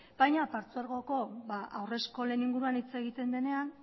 baina partzuergoko haur eskolen inguruan hitz egiten denean